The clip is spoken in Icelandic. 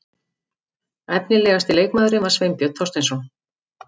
Efnilegasti leikmaðurinn var Sveinbjörn Þorsteinsson.